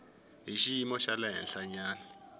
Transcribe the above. hi xiyimo xa le henhlanyana